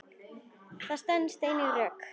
Þetta stenst engin rök.